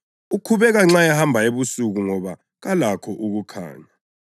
Ukhubeka nxa ehamba ebusuku ngoba kalakho ukukhanya.”